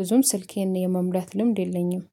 ብዙም ስልኬን የመሙላት ልምድ የለኝም